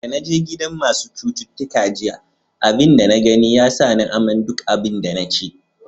Da na je gidan masun citutuka jiya, abin da na gani ya sa ni amai duk abin da na ci.